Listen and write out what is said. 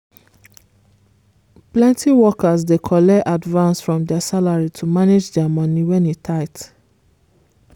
plenty workers dey collect advance from dia salary to manage dia money when e tight.